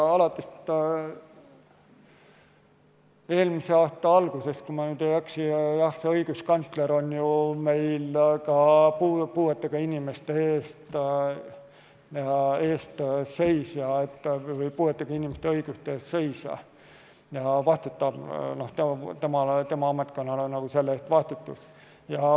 Alates eelmise aasta algusest, kui ma ei eksi, on õiguskantsler meil puuetega inimeste õiguste eest seisja ja vastutab, tema ametkonnal on see vastutus.